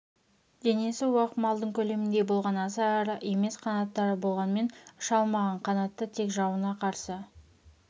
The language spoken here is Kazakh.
денесі уақ малдың көлеміндей болған аса ірі емес қанаттары болғанмен ұша алмаған қанатты тек жауына қарсы